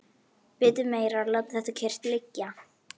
Vitið meira að láta þetta kyrrt liggja.